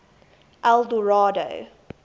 eldorado